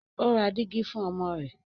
o rá Dígí fún ọmọ rẹ.